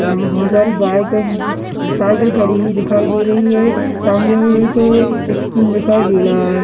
यहां पर बहुत सारी बाइक और उम्म साइकिल खड़ी हुई दिखाई दे रही हैं सामने एक स्कूल दिखाई दे रहा है।